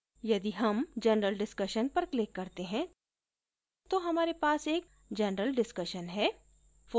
यदि हम general discussion पर click करते हैं तो हमारे पास एक general discussion है